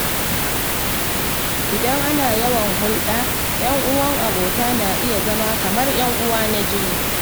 Idan ana yawan hulɗa, ‘yan uwan abota na iya zama kamar ‘yan uwa na jini.